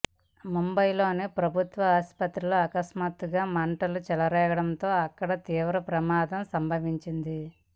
ముంబైలోని ప్రభుత్వాసుపత్రిలో అకస్మాత్తుగా మంటలు చెలరేగడం తో అక్కడ తీవ్ర ప్రమాదం సంభవించింది